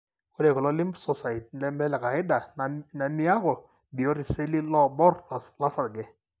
ore kuna lymphocytes nemelekaida na miaku biot iseli lobor losarge.